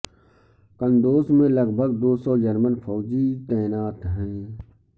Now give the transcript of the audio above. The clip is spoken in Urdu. کندوز میں لگ بھگ دو سو جرمن فوجی تعینات ہیں